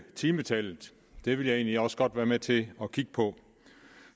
timetallet det vil jeg egentlig også godt være med til at kigge på